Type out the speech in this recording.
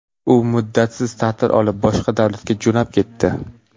U muddatsiz ta’til olib, boshqa davlatga jo‘nab ketdi.